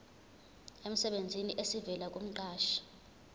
emsebenzini esivela kumqashi